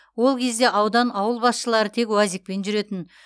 ол кезде аудан ауыл басшылары тек уазикпен жүретін